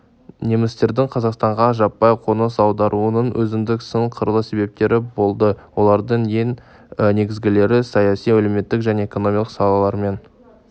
немістердің қазақстанға жаппай қоныс аударуының өзіндік сан қырлы себептері болды олардың ең негізгілері саяси әлеуметтік және экономикалық салалармен